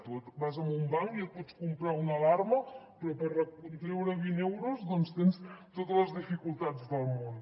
tu vas a un banc i et pots comprar una alarma però per treure vint euros tens totes les dificultats del món